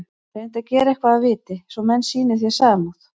Reyndu að gera eitthvað að viti, svo menn sýni þér samúð.